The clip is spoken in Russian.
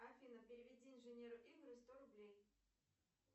афина переведи инженеру игорю сто рублей